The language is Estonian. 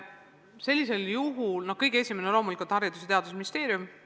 Sellisel juhul on kõige esimene koht loomulikult Haridus- ja Teadusministeerium.